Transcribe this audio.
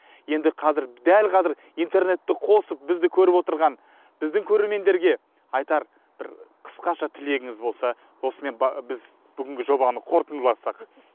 енді қазір дәл қазір интернетті қосып бізді көріп отырған біздің көрермендерге айтар бір қысқаша тілегіңіз болса осымен біз бүгінгі жобаны қорытындыласақ